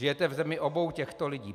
Žijete v zemi obou těchto lidí.